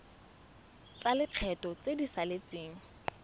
tsa lekgetho tse di saletseng